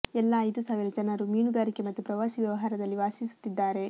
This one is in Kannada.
ಎಲ್ಲಾ ಐದು ಸಾವಿರ ಜನರು ಮೀನುಗಾರಿಕೆ ಮತ್ತು ಪ್ರವಾಸಿ ವ್ಯವಹಾರದಲ್ಲಿ ವಾಸಿಸುತ್ತಿದ್ದಾರೆ